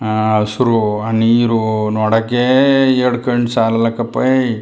ಅಹ್ ಹಸ್ರು ಆ ನೀರು ನೋಡಕೆ ಎರಡು ಕಣ್ಣು ಸಾಲಲಕ್ಕಪೇಯ್.